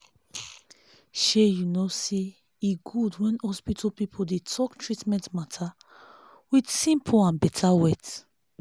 shey you no saye good when hospital pipo dey talk treatment matter with simple and better words